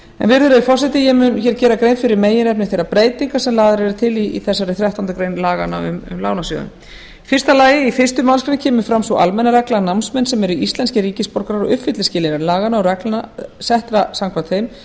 virðulegi forseti ég mun hér gera grein fyrir meginefni þeirra breytinga sem lagðar eru til í þessari þrettándu greinar laganna um lánasjóðinn fyrstu í fyrstu málsgrein kemur fram sú almenna regla að námsmenn sem eru íslenskir ríkisborgarar og uppfylla skilyrði laganna og reglna settra samkvæmt þeim